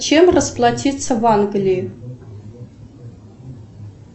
чем расплатиться в англии